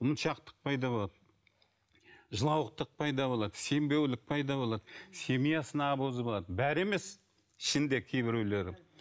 ұмытшақтық пайда болады жылауықтық пайда болады сенбеулік пайда болады семьясына обуза болады бәрі емес ішінде кейбіреулері